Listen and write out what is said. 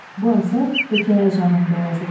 Bu əsər hekayə janrında yazılıb.